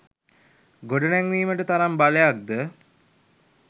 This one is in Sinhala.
ගොඩනැංවීමට තරම් බලයක් ද